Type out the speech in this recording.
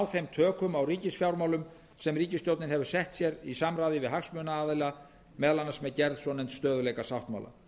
þeim tökum á ríkisfjármálunum sem ríkisstjórnin hefur sett sér í samráði við hagsmunaaðila meðal annars með gerð svonefnds stöðugleikasáttmála